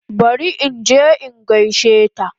Bari inje in gaishe ta